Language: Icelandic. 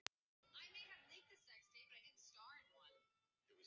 Hvað kemur til að þessi þrjótur vill skrifta?